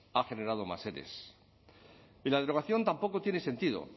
ha generado más ere y la derogación tampoco tiene sentido